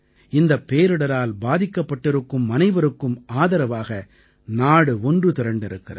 இந்தப் பேரிடரால் பாதிக்கப்பட்டிருக்கும் அனைவருக்கும் ஆதரவாக நாடு ஒன்று திரண்டிருக்கிறது